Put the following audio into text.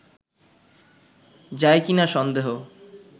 যায় কি না সন্দেহ